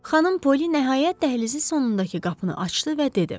Xanım Poli nəhayət dəhlizin sonundakı qapını açdı və dedi.